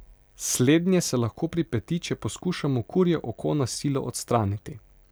Slednje se lahko pripeti, če poskušamo kurje oko na silo odstraniti.